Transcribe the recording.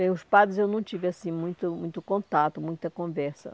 Bem, os padres eu não tive assim muito muito contato, muita conversa.